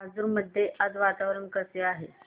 राजूर मध्ये आज वातावरण कसे आहे